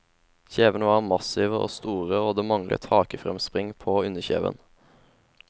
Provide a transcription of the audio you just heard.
Kjevene var massive og store og det manglet hakefremspring på underkjeven.